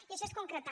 i això és concretar